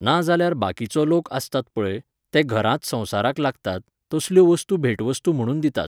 ना जाल्यार बाकीचो लोक आसतात पळय, ते घरांत संवसाराक लागतात, तसल्यो वस्तू भेटवस्तू म्हणून दितात.